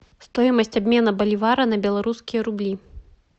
стоимость обмена боливара на белорусские рубли